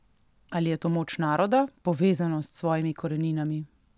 Ali je to moč naroda, povezanost s svojimi koreninami?